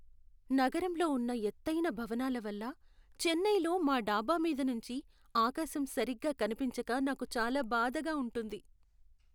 నగరంలో ఉన్న ఎతైన భవనాల వల్ల చెన్నైలో మా డాబా మీద నుంచి ఆకాశం సరిగ్గా కనిపించక నాకు చాలా బాధగా ఉంటుంది.